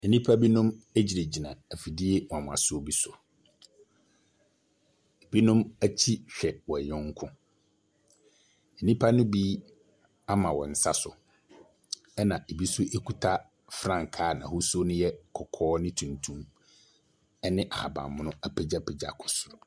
Enipa binom egyinagyina ɛfidie nwonwasoɔ bi so. Ebinom ɛkyi hwɛ wɔn yɔnko. Enipa no bi ama wɔn nsa so. Ɛna ebi ɛnso ekuta frankaa n'ahosuo no ɛyɛ kɔkɔɔ ne tuntum ɛne ahaban mono apegyapegya kɔ soro.